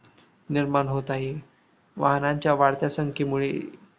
निर्माण होत आहे. वाहानांच्या वाढत्या संख्येमुळे